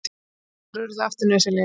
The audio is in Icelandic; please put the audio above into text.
Hattar urðu aftur nauðsynlegir.